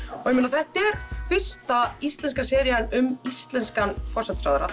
þetta er fyrsta íslenska serían um íslenskan forsætisráðherra